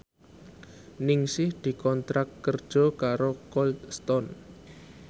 Ningsih dikontrak kerja karo Cold Stone